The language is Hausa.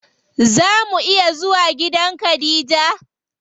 Zaa mu iya zuwa gidan khadija?